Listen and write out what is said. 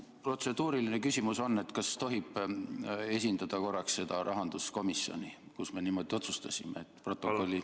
Protseduuriline küsimus on: kas tohib esindada korraks seda rahanduskomisjoni, kus me niimoodi otsustasime?